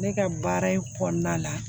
Ne ka baara in kɔnɔna la